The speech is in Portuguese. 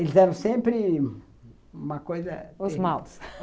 Eles eram sempre uma coisa... Os maus.